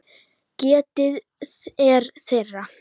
Getið er þeirra.